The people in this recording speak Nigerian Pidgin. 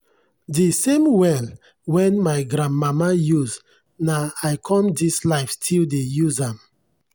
de same well wen my grandmama use na i come dis life still dey use am.